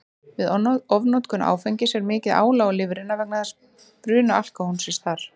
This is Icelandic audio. Við ofnotkun áfengis er mikið álag á lifrina vegna bruna alkóhólsins þar.